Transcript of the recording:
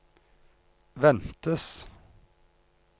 ventes